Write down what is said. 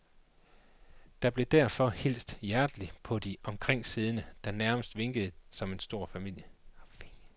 Der blev derfor hilst hjerteligt på de omkringsiddende, der nærmest virkede som en stor familie.